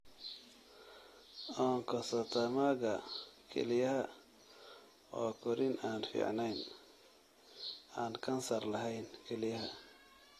Oncocytomaga kelyaha waa korriin aan fiicneyn (aan kansar lahayn) kelyaha.